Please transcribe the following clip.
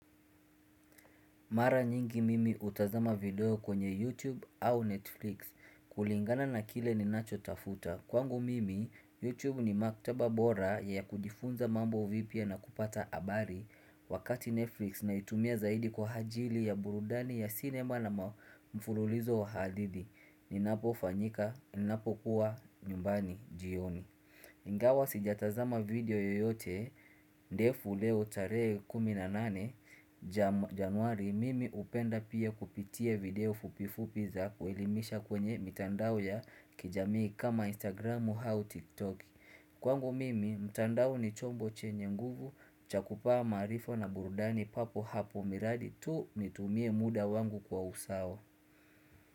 Mara nyingi mimi hutazama video kwenye YouTube au Netflix kulingana na kile ninacho tafuta kwangu mimi, YouTube ni maktaba bora ya kujifunza mambo vipya na kupata habari Wakati Netflix naitumia zaidi kwa ajili ya burudani ya cinema na mfululizo wa hadithi Ninapofanyika, ninapokuwa nyumbani jioni Ingawa sijatazama video yoyote ndefu leo tarehe 18 januari Mimi hupenda pia kupitia video fupi fupi za kuelimisha kwenye mitandao ya kijamii kama instagramu au tiktok Kwangu mimi, mtandao ni chombo chenye nguvu chakupa maarifa na burudani papo hapo miradi tu nitumie muda wangu kwa usawa.